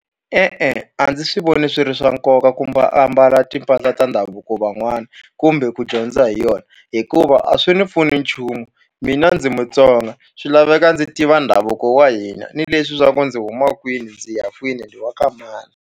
E-e a ndzi swi voni swi ri swa nkoka ku ambala timpahla ta ndhavuko van'wana kumbe ku dyondza hi yona hikuva a swi ni pfuni nchumu mina ndzi Mutsonga swi laveka ndzi tiva ndhavuko wa hina ni leswi swa ku ndzi huma kwini ndzi ya kwini ndzi wa ka mani.